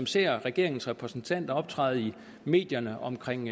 ser regeringens repræsentanter optræde i medierne omkring